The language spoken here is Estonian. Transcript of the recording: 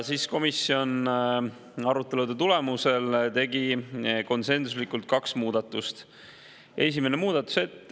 Komisjon tegi arutelude tulemusel konsensuslikult kaks muudatust.